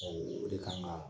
o de kan ŋaa